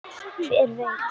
Hver veit?